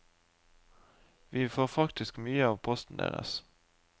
Vi får faktisk mye av posten deres.